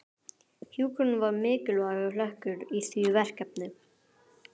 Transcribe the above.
Hjúkrun var mikilvægur hlekkur í því verkefni.